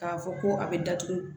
K'a fɔ ko a bɛ datugu